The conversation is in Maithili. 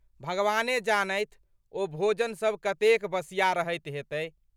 भगवाने जानथि, ओ भोजन सब कतेक बसिया रहैत हेतै।